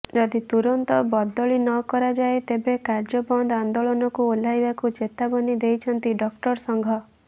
ଯଦି ତୁରନ୍ତ ବଦଳି ନ କରାଯାଏ ତେବେ କାର୍ଯ୍ୟବନ୍ଦ ଆନ୍ଦୋଳନକୁ ଓହ୍ଲାବାକୁ ଚେତାବନୀ ଦେଇଛନ୍ତି ଡାକ୍ତର ସଂଘ